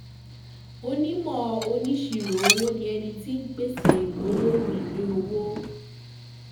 Onímò oníṣirò owó ni ẹni tí ń pèsè gbólóhùn ìwé owó.